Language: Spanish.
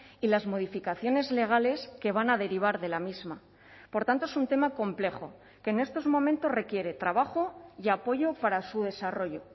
y las modificaciones legales que van a derivar de la misma por tanto es un tema complejo que en estos momentos requiere trabajo y apoyo para su desarrollo